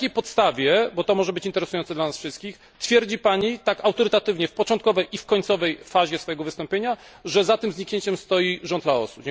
Na jakiej podstawie, bo to może być interesujące dla nas wszystkich, twierdzi Pani tak autorytatywnie w początkowej i końcowej fazie swojego wystąpienia, że za tym zniknięciem stoi rząd Laosu?